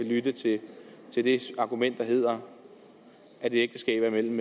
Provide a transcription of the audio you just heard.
lyttet til det argument der hedder at et ægteskab er mellem